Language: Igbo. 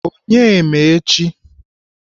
Onye ma echi?